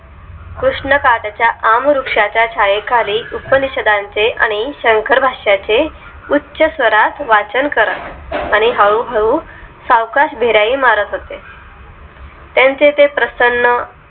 कृष्णाकाठच्या आम्रवृक्षाच्या छायेखाली उपनिषदांचे आणि शंकर भाषा चे उच्च स्वरात वाचन करा आणि हळूहळू सावकाश बिराई मारत होते त्यांचे ते प्रसन्न